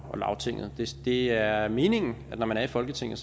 og lagtinget det er meningen at når man er i folketinget